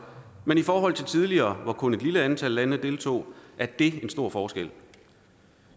men i forhold til tidligere hvor kun et lille antal lande deltog er det en stor forskel